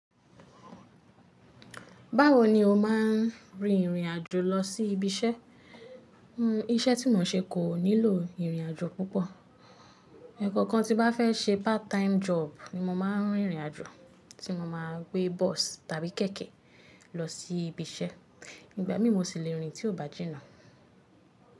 Báwo ni o má a ń rin ìrìn àjò lọ sí ibi iṣẹ́? Iṣẹ́ tí mo ń ṣe kò nílò ìrìn àjò púpọ̀. Ẹ̀ẹ̀kọkan tí mo bá fẹ́ ṣe part time job ni mo máa ń rìn ìrìn àjò, tí mo máa ń gbé bọ́ọ̀sì tàbí kẹ̀kẹ́ lọ sí ibi iṣẹ́. Ìgbà mí mu ṣì lè rìn tí ó bá jìnnà.